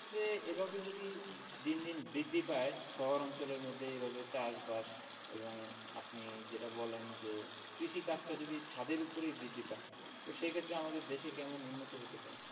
এইভাবে যদি দিন দিন বৃদ্ধি পায় শহর অঞ্চলের মধ্যে এভাবে চাষ বাস এবং উম আপনি যেটা বললেন যে কৃষি কাজটা যদি ছাদের ওপরেই বৃদ্ধি পায় তো সেক্ষেত্রে আমাদের দেশে কেমন উন্নত হতে পারে?